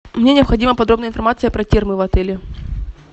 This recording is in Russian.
мне необходима подробная информация про термы в отеле